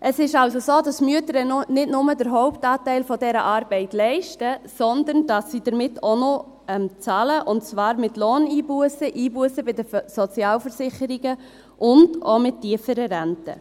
Es ist also so, dass die Mütter nicht nur den Hauptanteil dieser Arbeit leisten, sondern dass sie damit auch noch zahlen, und zwar mit Lohneinbussen, Einbussen bei den Sozialversicherungen und auch mit tieferen Renten.